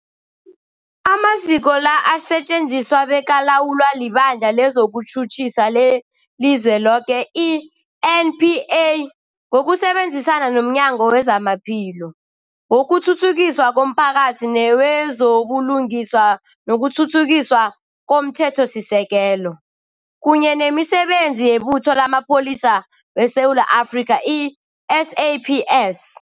Amaziko la asetjenziswa bekalawulwa liBandla lezokuTjhutjhisa leliZweloke, i-NPA, ngokusebenzisana nomnyango wezamaPhilo, wokuthuthukiswa komphakathi newezo buLungiswa nokuThuthukiswa komThethosisekelo, kunye nemiSebenzi yeButho lamaPholisa weSewula Afrika, i-SAPS.